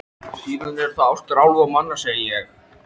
Síðan eru það ástir álfa og manna, segi ég.